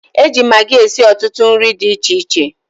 E ji magi esi ọtụtụ nri di iche iche.